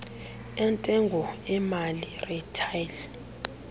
entengo emali retail